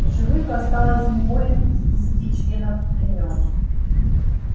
в живых осталось не более пятидесяти членов племён